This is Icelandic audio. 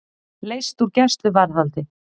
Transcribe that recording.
Leyst úr gæsluvarðhaldi